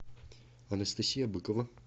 анастасия быкова